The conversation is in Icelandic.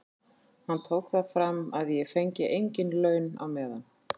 Hann tók það fram að ég fengi engin laun á meðan.